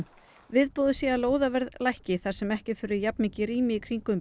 viðbúið sé að lóðaverð lækki þar sem ekki þurfi jafnmikið rými í kringum